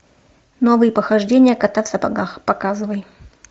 новые похождения кота в сапогах показывай